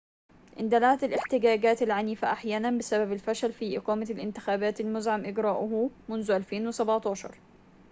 اندلعت الاحتجاجات العنيفة أحياناً بسبب الفشل في إقامة الانتخابات المزمع إجراؤها منذ 2011